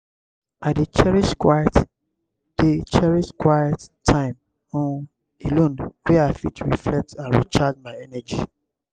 i dey cherish quiet dey cherish quiet time um alone wey i fit reflect and recharge my energy.